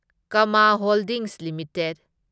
Kama holdings limited